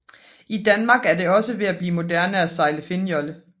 I Danmark er det også ved at blive moderne at sejle finnjolle